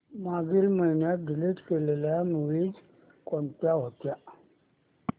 मागील महिन्यात डिलीट केलेल्या मूवीझ कोणत्या होत्या